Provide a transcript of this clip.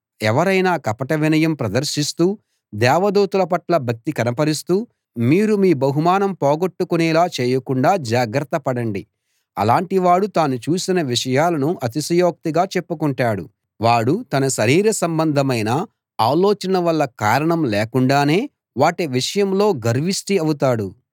ఎవరైనా కపట వినయం ప్రదర్శిస్తూ దేవదూతల పట్ల భక్తి కనపరుస్తూ మీరు మీ బహుమానం పోగొట్టుకొనేలా చేయకుండా జాగ్రత్త పడండి అలాటివాడు తాను చూసిన విషయాలను అతిశయోక్తిగా చెప్పుకుంటాడు వాడు తన శరీర సంబంధమైన ఆలోచన వల్ల కారణం లేకుండానే వాటి విషయంలో గర్విష్టి అవుతాడు